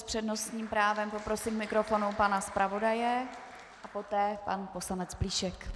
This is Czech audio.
S přednostním právem poprosím k mikrofonu pana zpravodaje a poté pan poslanec Plíšek.